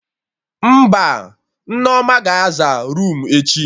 Mba, Nneoma ga-aza roomu echi